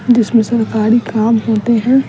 जिसमें से सारी काम होती है।